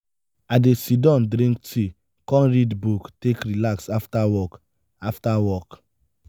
i dey sidon drink tea kom read book take relax after work. after work.